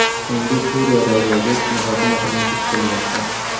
Shuningdek, Suriyadagi vaziyat muhokama qilinishi kutilmoqda.